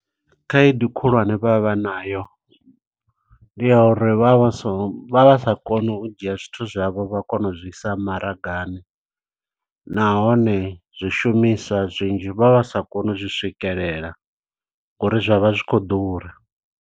Khaedu khulwane vha vha vhanayo ndi ya uri, vha vha so, vha vha sa koni u dzhia zwithu zwavho vha kona uzwi isa maragani. Nahone zwishumiswa zwinzhi vha vha sa koni u zwi swikelela, ngo uri zwa vha zwi khou ḓura.